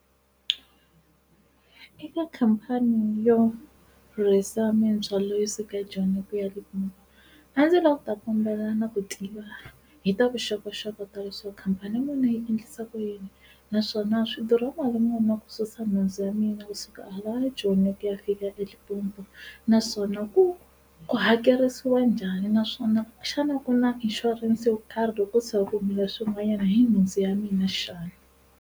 Eka khampani yo rhurhisa mindzhwalo yo suka Joni hi ku ya eLimpopo a ndzi lava ku ta kombela na ku tiva hi ta vuxokoxoko ta leswaku khampani ya munhu yi endlisa ku yini naswona swidurha mali muni ku susa nhundzu ya mina kusuka hala eJoni ku ya fika a eLimpopo, naswona ku ku hakerisiwa njhani naswona xana ku na insurance yo karhi loko ko tshika ku humelele swin'wanyana hi nhundzu ya mina xana?